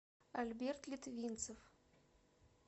альберт литвинцев